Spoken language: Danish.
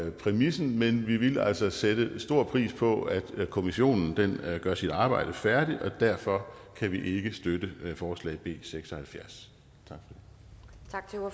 i præmissen men vi vil altså sætte stor pris på at kommissionen gør sit arbejde færdigt og derfor kan vi ikke støtte forslag b seks og halvfjerds